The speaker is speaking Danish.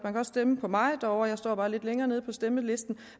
stemme på mig derovre jeg står bare lidt længere nede på stemmelisten